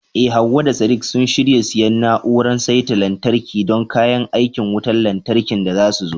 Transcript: Eh Hawwa da Sadiq sun shirya siyan na'urar saita lantarki don kayan aikin wutar lantarkin da zasu zo.